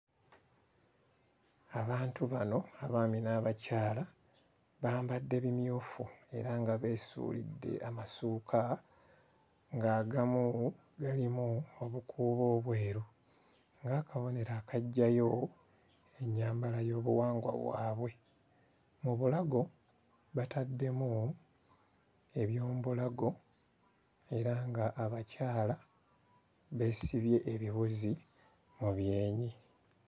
Abantu bano abaami n'abakyala bambadde bimyufu era nga beesuulidde amasuuka ng'agamu galimu obukuubo obweru ng'akabonero akaggyayo ennyambala y'obuwangwa bwabwe. Mu bulago bataddemu eby'omu bulago era ng'abakyala beesibye ebiwuzi mu byenyi.